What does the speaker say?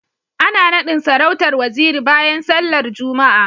Ana nadin sarautar Waziri bayan sallar Juma'a